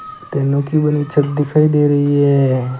टेनों की बनी छत दिखाई दे रही है।